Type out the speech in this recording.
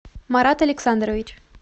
марат александрович